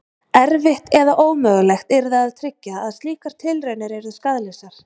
Erfitt eða ómögulegt yrði að tryggja að slíkar tilraunir yrðu skaðlausar.